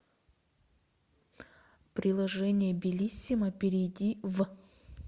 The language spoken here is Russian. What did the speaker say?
приложение белисимо перейди в